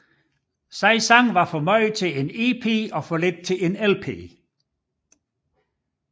Seks sange var for mange til en EP og for lidt til en LP